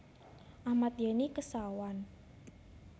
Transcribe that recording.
Ahmad Yani Kesawan